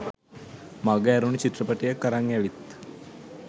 මග ඇරුනු චිත්‍රපටියක් අරං ඇවිත්